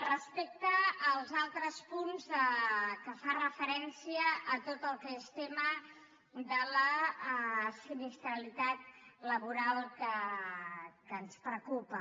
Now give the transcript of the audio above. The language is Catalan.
respecte als altres punts que fan referència a tot el que és tema de la sinistralitat laboral que ens preocupa